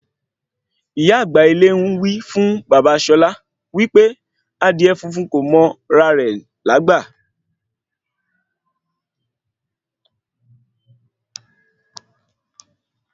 Ìyá àgbà ilé ń wí fún bàbá Ṣọlá wí pé Adìẹ funfun kò mọ ra re lágbà